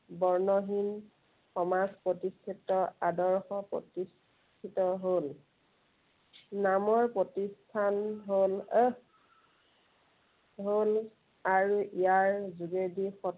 বৰ্ণহীন সমাজ প্ৰতিষ্ঠিত আদৰ্শ প্ৰতিষ্ঠিত হল। নামৰ প্ৰতিষ্ঠান হল আহ হল আৰু ইয়াৰ যোগেদি